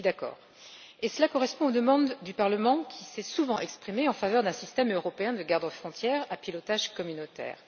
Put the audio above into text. je suis d'accord, et cela correspond aux demandes du Parlement, qui s'est souvent exprimé en faveur d'un système européen de gardes frontières à pilotage communautaire.